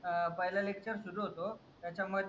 पहिलं लेक्चर सुरू होतो त्याच्या मध्ये